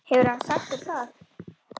Hefur hann sagt þér það?